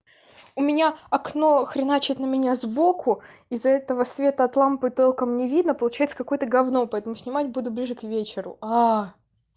у меня окно хреначит на меня сбоку из-за этого света от лампы толком не видно получает какое-то говно поэтому снимать буду ближе к вечеру аа